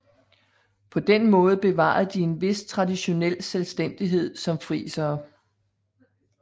På den måde bevarede de en vis traditionel selvstændighed som frisere